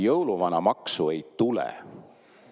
Jõuluvanamaksu ei tule.